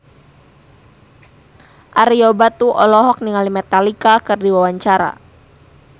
Ario Batu olohok ningali Metallica keur diwawancara